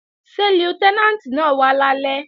Ṣé Lútẹ́nàǹtì náà wá lálẹ́?